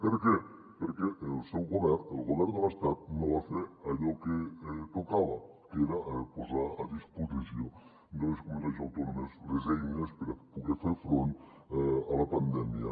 per què perquè el seu govern el govern de l’estat no va fer allò que tocava que era posar a disposició de les comunitats autònomes les eines per a poder fer front a la pandèmia